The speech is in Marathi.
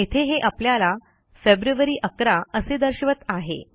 येथे हे आपल्याला फेब्रुअरी 11 असे दर्शवत आहे